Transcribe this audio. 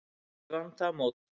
Ég vann það mót.